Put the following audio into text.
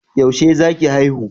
Yaushe za ki haihu?